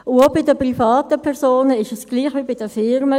Auch bei den privaten Personen ist es gleich wie bei den Firmen: